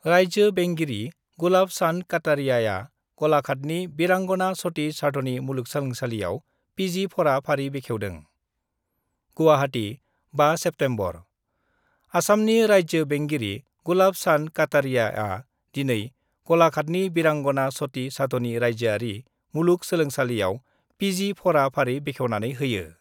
राइज्यो बेंगिरि गुलाब चान्द काटारियाआ गलाघाटनि बिरांगना सति साधनी मुलुगसोलोंसालिआव पिजि फरा-फारि बेखेवदों गुवाहाटी, 5 सेप्तेम्बरः आसामनि राइज्यो बेंगिरि गुलाब चान्द काटारियाआ दिनै गलाघाटनि बिरांगना सति साधनी मुलुगसोलोंसालिआव पिजि फरा-फारि बेखेवनानै होयो।